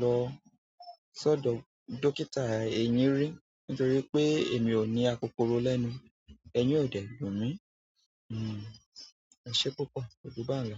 lọ sọ́dọ̀ dókítà eyìn rí nítorí pé èmi ò ní akokoro lẹ́nu. Eyín ò dẹ̀ dùn mí. Hmm, ẹṣé púpọ̀, koju bá n lọ.